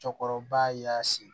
Cɔkɔrɔba y'a seri